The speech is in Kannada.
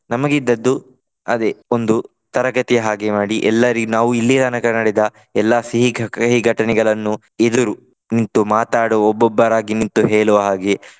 ನಮಗೆ ಇದ್ದದ್ದು ಅದೇ ಒಂದು ತರಗತಿಯ ಹಾಗೆ ಮಾಡಿ ಎಲ್ಲರಿಗೆ ನಾವು ಇಲ್ಲಿಯ ತನಕ ನಡೆದ ಎಲ್ಲಾ ಸಿಹಿ ಕಹಿ ಘಟನೆಗಳನ್ನು ಎದುರು ನಿಂತು ಮಾತಾಡುವ ಒಬ್ಬೊಬ್ಬರಾಗಿ ನಿಂತು ಹೇಳುವ ಹಾಗೆ.